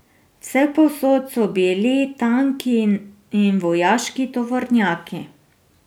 Vsepovsod so bili tanki in vojaški tovornjaki.